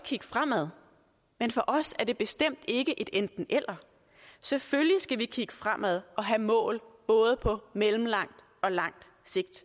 kigge fremad men for os er det bestemt ikke et enten eller selvfølgelig skal vi kigge fremad og have mål både på mellemlang og lang sigt